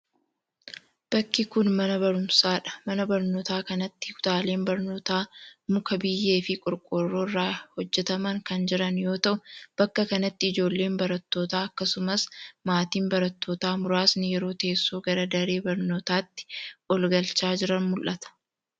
Bakki kun, mana baruumsaa dha. Mana barnootaa kanatti kutaaleen barnootaa:muka, biyyee fi qorqoorroo irraa hojjataman kan jiran yoo ta'u, bakka kanatti ijoolleen barattootaa akkasumas maatiin barattootaa muraasni yeroo teessoo gara daree barnootaatti ol galchaa jiran mul'ata.